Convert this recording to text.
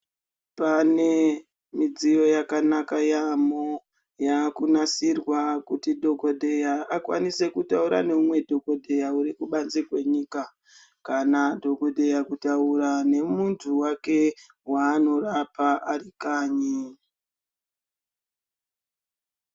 Pane midziyo yakanaka yaamho yakunasirwa kuti dhokodheya akwanise kutaura neumwe dhokodheya ari kubanze kwenyika kana dhokodheya kutaura nemuntu wake waanorapa ari kanyi.